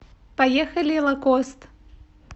поехали лакост